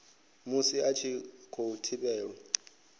musi a tshi khou thivhelwa